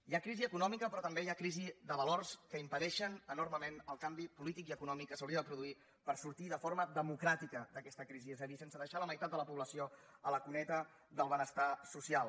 hi ha crisi econòmica però també hi ha crisi de valors que impedeixen enormement el canvi polític i econòmic que s’hauria de produir per sortir de forma democràtica d’aquesta crisi és a dir sense deixar la meitat de la població a la cuneta del benestar social